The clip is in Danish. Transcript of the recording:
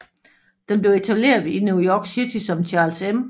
Den blev etableret i New York City som Charles M